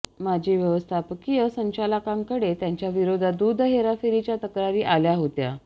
माजी व्यवस्थापकीय संचालकांकडे त्यांच्या विरोधात दूध हेराफेरीच्या तक्रारी आल्या होत्या